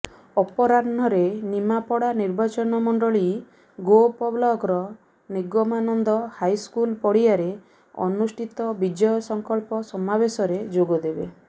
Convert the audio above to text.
ଅପରାହ୍ନରେ ନିମାପଡା ନିର୍ବାଚନ ମଣ୍ଡଳୀ ଗୋପ ବ୍ଲକର ନିଗମାନନ୍ଦ ହାଇସ୍କୁଲ ପଡିଆରେ ଅନୁଷ୍ଠିତ ବିଜୟ ସଂକଳ୍ପ ସମାବେଶରେ ଯୋଗଦେବେ